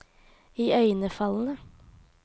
iøynefallende